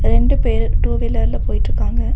ரெண்டு பேரு டூ வீலர்ல போயிட்ருக்காங்க.